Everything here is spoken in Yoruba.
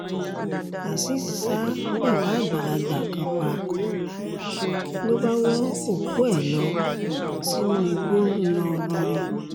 azeez ṣa bàbá àgbàlagbà kan pa ló bá wọ́ òkú ẹ̀ lọ sínú igbó ńlọrọrin